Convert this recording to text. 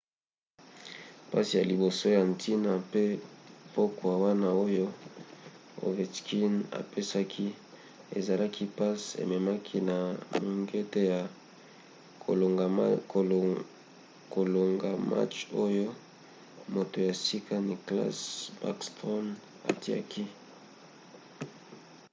passe ya liboso ya ntina na pokwa wana oyo ovechkin apesaki ezalaki passe ememaki na mongete ya kolonga match oyo moto ya sika nicklas backstrom atiaki;